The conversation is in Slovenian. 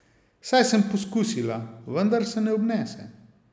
Saj sem poskusila, vendar se ne obnese.